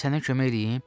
Sənə kömək eləyim?